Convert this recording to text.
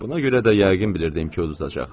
Buna görə də yəqin bilirdim ki, udacaq.